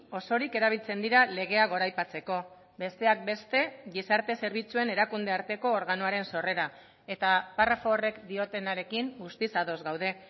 osorik erabiltzen dira legea goraipatzeko besteak beste gizarte zerbitzuen erakunde arteko organoaren sorrera eta parrafo horrek diotenarekin guztiz ados gaude